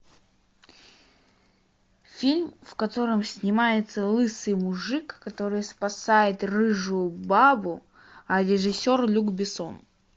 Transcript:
фильм в котором снимается лысый мужик который спасает рыжую бабу а режиссер люк бессон